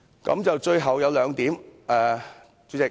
主席，最後我想說兩點。